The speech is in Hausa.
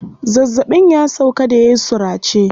Zazzaɓin ya sauƙa da yayi surace.